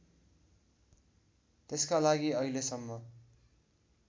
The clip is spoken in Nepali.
त्यसका लागि अहिलेसम्म